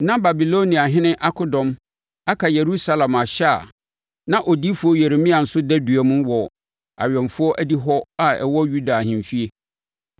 Na Babiloniahene akodɔm aka Yerusalem ahyɛ a na odiyifoɔ Yeremia nso da dua mu wɔ awɛmfoɔ adihɔ a ɛwɔ Yuda ahemfie.